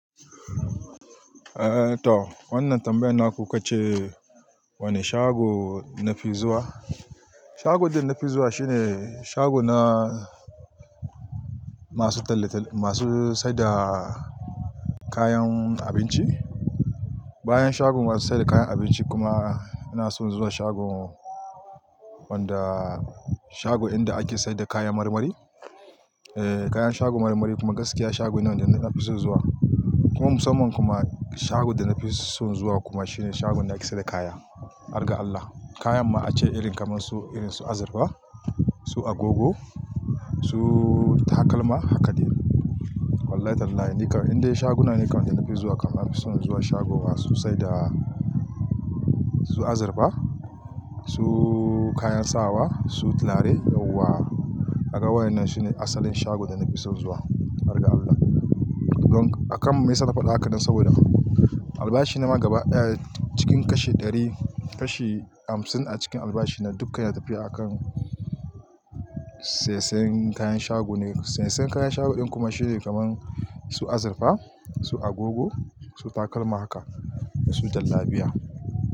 Eh to, wannan tambayan na ku ka ce wane shago nafi zuwa. Shago da nafi zuwa shine shago na masu talle-talli, masu saida kayan abinci. Bayan shagon masu saida kayan abinci kuma ina son zuwa shagon wanda shago inda ake saida kayan marmari. Eh kayan shagon marmari kuma gaskiya shagon ne wanda nafi so zuwa. Kuma musamman kuma shagon da nafi son zuwa kuma shine shagon da ake saida kaya. hArga allah. Kayan ma ace irin kaman su irin su azurfa, su agogo, su takalma haka dai. Wallahi Tallahi nikam inde shaguna ne kam nafi zuwa kam nafi son zuwa shagowa so saida su azurfa, su kayan sawa, su turare, yauwa. Haka waɗannan shine asalin shagon da nafi son zuwa. Hargallah. Don haka akan mai saka faɗa haka nan saboda albashi na ma gaba daya, cikin kashi ɗari, kashi hamsin a cikin albashi na dukka yana tafiya a kan saisayin kayan shago ne. Saisayin kayan shagon kuma shine kaman su azurfa, su agogo, su takalma haka da su jallabiya.